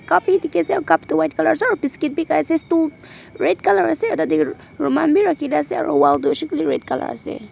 Cup he dekhe ase aro cup tu white colour ase aro biscuit beh khai ase stool red colour ase aro tate roman beh rakhe kena ase aro wall tu hoishe koile red colour ase.